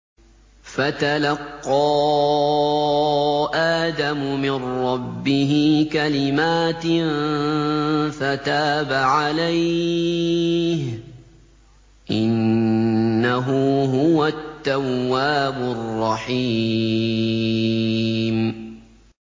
فَتَلَقَّىٰ آدَمُ مِن رَّبِّهِ كَلِمَاتٍ فَتَابَ عَلَيْهِ ۚ إِنَّهُ هُوَ التَّوَّابُ الرَّحِيمُ